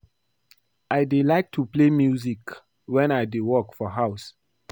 I dey like to play music wen I dey work for house